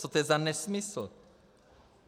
Co to je za nesmysl?